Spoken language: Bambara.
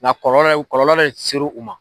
Nka kɔlɔlɔ kɔlɔlɔ min seru ma.